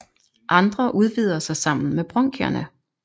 Andre udvider sig sammen med bronkierne